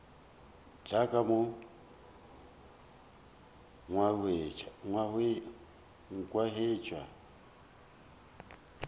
tla ka mo a nkhwetša